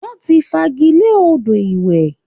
Wọ́n ti fagilé odò ìwẹ̀